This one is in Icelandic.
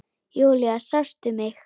Júlía, sástu mig?